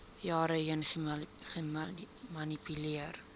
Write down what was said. jare heen gemanipuleer